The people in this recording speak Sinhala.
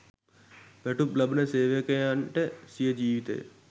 වැටුප් ලබන සේවකයන්ට සිය ජිවිතය